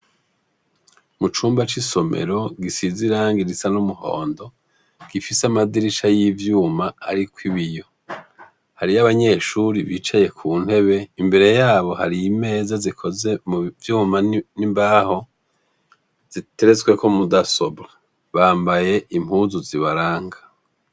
Mu cumba c'isomero gisize irangi risa n'umuhondo, gifise amadirisha y'ivyuma ariko ibiyo, hariho abanyeshuri bicaye ku ntebe imbere yabo hari imeza zikoze mu vyuma n'imbaho, ziteretseko mu dasobwa, bambaye impuzu zibaranga.